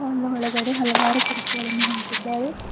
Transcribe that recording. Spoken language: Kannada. ಒಂದು ಒಳಗಡೆ ಹಲವಾರು ಕುರ್ಚಿಗಳನ್ನು ಹಾಕಿದ್ದಾರೆ.